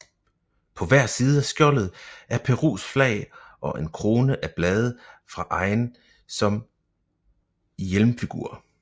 På hver side af skjoldet er Perus flag og en krone af blade fra egen som hjelmfigur